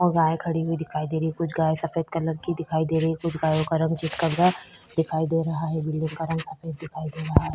गाय खड़ी हुई दिखाई दे रही है कुछ गाय सफ़ेद कलर की दिखाई दे रही है कोई गायो का रंग चितकबरा दिखाई दे रहा है बिल्डिंग का रंग सफ़ेद दिखाई दे रहा है।